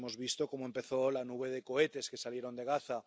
Todos hemos visto cómo empezó la nube de cohetes que salieron de Gaza.